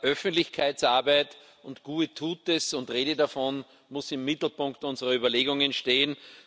Öffentlichkeitsarbeit und Tue Gutes und rede davon muss im Mittelpunkt unserer Überlegungen stehen.